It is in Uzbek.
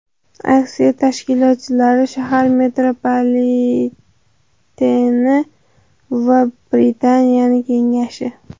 Aksiya tashkilotchilari shahar metropoliteni va Britaniya Kengashi.